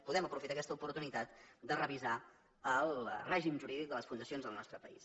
podem aprofitar aquesta oportunitat de revisar el règim jurídic de les fundacions del nostre país